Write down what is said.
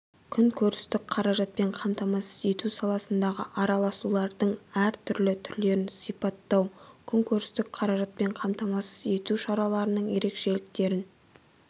қүнкөрістік қаражатпен қамтамасыз ету саласындағы араласулардың әр түрлі түрлерін сипаттау қүнкөрістік қаражатпен қамтамасыз ету шараларының ерекшеліктерің